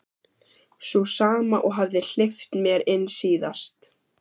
Sú sama og hafði hleypt mér inn síðast.